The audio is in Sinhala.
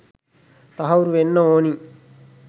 තහවුරු වෙන්න ඕනි.